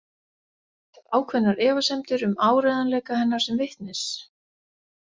Hef ákveðnar efasemdir um áreiðanleika hennar sem vitnis.